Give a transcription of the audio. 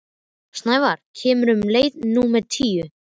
Snævarr, hvenær kemur leið númer tíu?